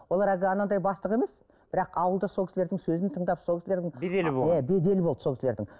олар әлгі анандай бастық емес бірақ ауылда сол кісілердің сөзін тыңдап сол кісілердің беделі болды сол кісілердің